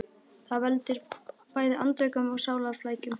Það veldur bæði andvökum og sálarflækjum.